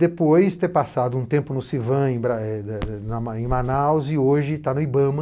Depois de ter passado um tempo no Civan, eh em Manaus, e hoje está no Ibama.